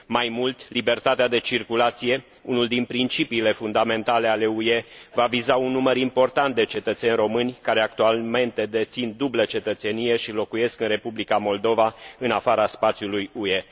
Mai mult, libertatea de circulație, unul din principiile fundamentale ale UE, va viza un număr important de cetățeni români, care actualmente dețin dublă cetățenie și locuiesc în Republica Moldova, în afara spațiului UE.